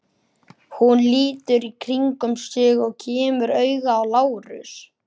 Hún lítur í kringum sig og kemur auga á Lárus.